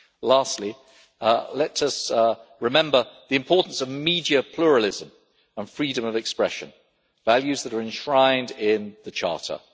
Lastly, let us remember the importance of media pluralism and freedom of expression, values that are enshrined in the Charter.